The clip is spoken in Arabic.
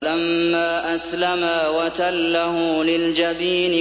فَلَمَّا أَسْلَمَا وَتَلَّهُ لِلْجَبِينِ